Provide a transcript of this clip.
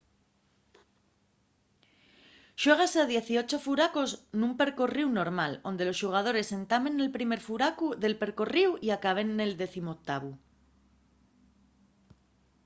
xuégase a dieciocho furacos nun percorríu normal onde los xugadores entamen nel primer furacu del percorríu y acaben nel decimoctavu